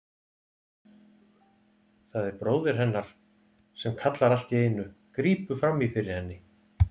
Það er bróðir hennar sem kallar allt í einu, grípur fram í fyrir henni.